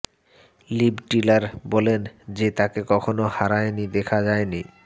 leave Tyler বলেন যে তাকে কখনো হয়রানি দেখা যায়নি